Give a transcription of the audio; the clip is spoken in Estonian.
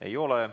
Ei ole.